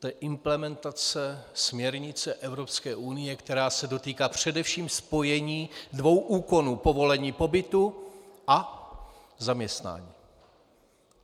To je implementace směrnice Evropské unie, která se dotýká především spojení dvou úkonů: povolení pobytu a zaměstnání.